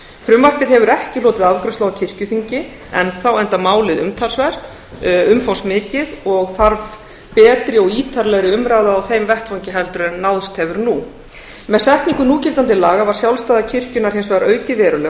frumvarpið hefur ekki hlotið afgreiðslu á kirkjuþingi enn þá enda málið umfangsmikið og þarf betri og ítarlegri umræðu á þeim vettvangi heldur en náðst hefur nú með setningu núgildandi laga var sjálfstæði kirkjunnar hins vegar aukið verulega og